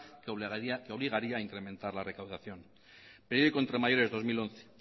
que obligaría a incrementar la recaudación periódico entre mayores dos mil once